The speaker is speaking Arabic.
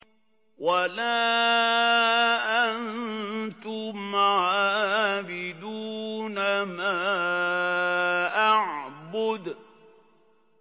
وَلَا أَنتُمْ عَابِدُونَ مَا أَعْبُدُ